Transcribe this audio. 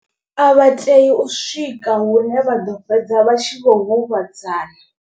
A vha tei u swika hune vha ḓo fhedza vha tshi vho huvhadzana.